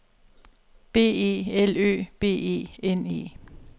B E L Ø B E N E